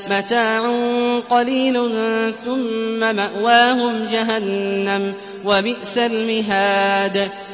مَتَاعٌ قَلِيلٌ ثُمَّ مَأْوَاهُمْ جَهَنَّمُ ۚ وَبِئْسَ الْمِهَادُ